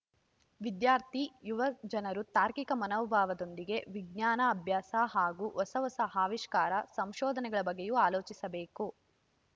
ವಿದ್ಯಾರ್ಥಿ ಯುವ ಜನರು ತಾರ್ಕಿಕ ಮನೋಭಾವದೊಂದಿಗೆ ವಿಜ್ಞಾನ ಅಭ್ಯಾಸ ಹಾಗೂ ಹೊಸ ಹೊಸ ಆವಿಷ್ಕಾರ ಸಂಶೋಧನೆಗಳ ಬಗ್ಗೆಯೂ ಆಲೋಚಿಸಬೇಕು